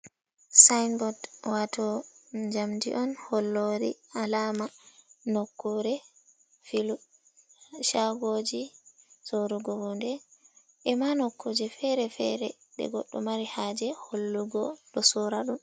Sinbord. Wato jamdi on hollori alama nokkure filu, chagoji sorugo hunde e ma nokkuje fere-fere de goddo mari haje hollugo ɗo sora ɗum.